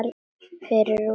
Fyrir rúmri viku.